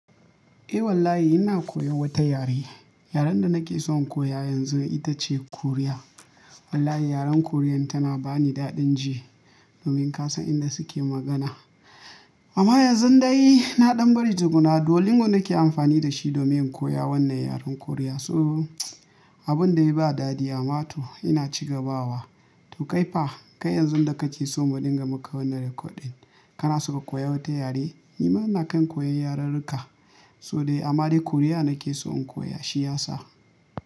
Eh wallahi ina koyan wata yare. Yaren da nake son koya yanzu ita ce Korea. Wallahi yaren Korean tana bani daɗin ji, domin ka san inda suke magana. Amma yanzu dai na ɗan bari tukunna, Duolingo nake amfani da shi domin in koya wannan yaren Korea. So abun da ba dadi amma toh ina cigabawa. To kai fa, kai yanzu da ka ci so mu dinga maka wannan rikodin, kana so ka koya wata yare? Ni ma ina kan koyan yararruka. So dai amma dai Korea nake so in koya, shi yasa.